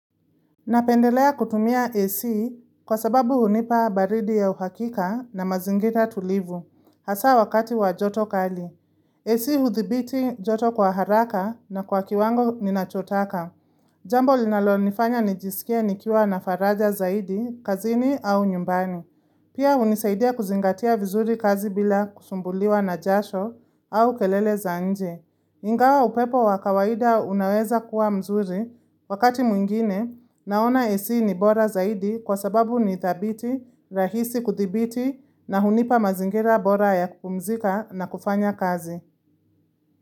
Napendelea kutumia AC kwa sababu hunipa baridi ya uhakika na mazingira tulivu, hasa wakati wa joto kali. AC huthibiti joto kwa haraka na kwa kiwango ninachotaka. Jambo linalonifanya nijisikie nikiwa na faraja zaidi, kazini au nyumbani. Pia hunisaidia kuzingatia vizuri kazi bila kusumbuliwa na jasho au kelele zaanje. Ingawa upepo wa kawaida unaweza kuwa mzuri wakati mwingine naona AC ni bora zaidi kwa sababu ni thabiti, rahisi kuthibiti na hunipa mazingira bora ya kupumzika na kufanya kazi.